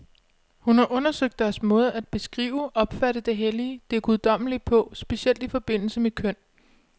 Hun har undersøgt deres måde at beskrive, opfatte det hellige, det guddommelige på, specielt i forbindelse med køn.